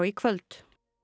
kvöld